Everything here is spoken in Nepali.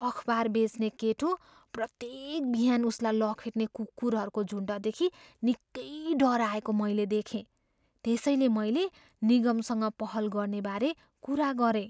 अखबार बेच्ने केटो प्रत्येक बिहान उसलाई लखेट्ने कुकुरहरूको झुन्डदेखि निकै डराएको मैले देखेँ। त्यसैले मैले निगमसँग पहल गर्नेबारे कुरा गरेँ।